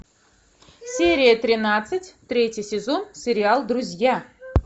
серия тринадцать третий сезон сериал друзья